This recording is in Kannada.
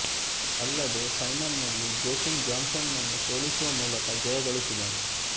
ಅಲ್ಲದೇ ಫೈನಲ್ ನಲ್ಲಿ ಜೊಕಿಮ್ ಜಾನ್ ಸನ್ ನನ್ನು ಸೋಲಿಸುವ ಮೂಲಕ ಜಯಗಳಿಸಿದನು